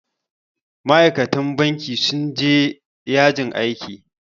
Ma'aikatan banki sun je ya jin aiki